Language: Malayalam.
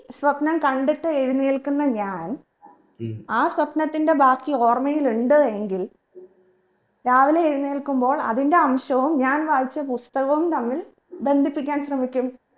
സ്വപ്നം കണ്ടിട്ട് എഴുന്നേൽക്കുന്ന ഞാൻ ആ സ്വപ്നത്തിന്റെ ബാക്കി ഓർമയിലുണ്ട് എങ്കിൽ രാവിലെ എഴുന്നേൽക്കുമ്പോൾ അതിന്റെ അംശവും ഞാൻ വായിച്ചാ പുസ്തകവും തമ്മിൽ ബന്ധിപ്പിക്കാൻ ശ്രമിക്കും